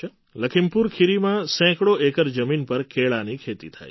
લખીમપુર ખીરીમાં સેંકડો એકર જમીન પર કેળાંની ખેતી થાય છે